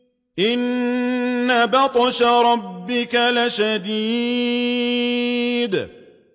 إِنَّ بَطْشَ رَبِّكَ لَشَدِيدٌ